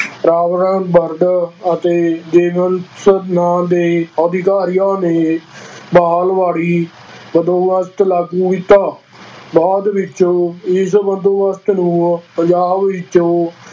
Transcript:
ਅਤੇ ਨਾਂ ਦੇ ਅਧਿਕਾਰੀਆਂ ਨੇ ਮਹਿਲਵਾੜੀ ਬੰਦੋਬਸਤ ਲਾਗੂ ਕੀਤਾ, ਬਾਅਦ ਵਿੱਚ ਇਸ ਬੰਦੋਬਸਤ ਨੂੰ ਪੰਜਾਬ ਵਿੱਚੋਂ